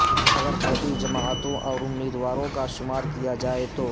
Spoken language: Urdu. اگر چھوٹی جماعتوں اور امیدواروں کا شمار کیا جائے تو